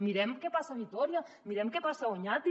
mirem què passa a vitòria mirem què passa a oñati